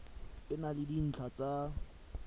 e na le dintlha tsa